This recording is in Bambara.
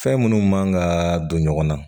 Fɛn minnu man ka don ɲɔgɔn na